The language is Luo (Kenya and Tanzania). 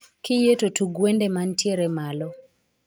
Kiyie to tug wende mantiere malo